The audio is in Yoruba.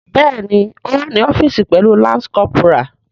Bẹẹni o wa ni ọfiisi pẹlu lance corporal.